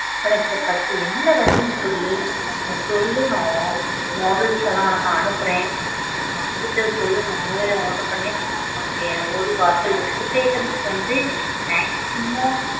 உனக்கு first என்ன வேணும்னு சொல்லு? நீ சொல்லு நான் mod~ models லாம் உனக்கு அனுப்பறேன். உனக்கு பிடிச்சத சொல்லு நான் online ல order பண்ணி உனக்கு ஒரு வாரத்துல food items வந்து maximum.